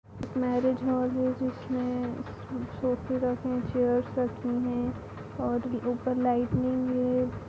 Marriage hall है जिसमें सोफ़े रखे हैं चेयर्स रखी हैं और ऊपर लाइटिंग हैं ।